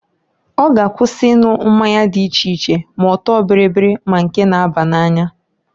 Ọ g'akwụsị ịnwụ mmanya dị iche iche, ma ọtọ bịrị ma nke na-aba n'anya.